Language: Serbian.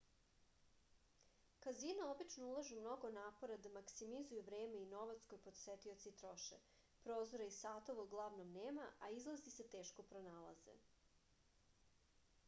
kazina obično ulažu mnogo napora da maksimizuju vreme i novac koje posetioci troše prozora i satova uglavnom nema a izlazi se teško pronalaze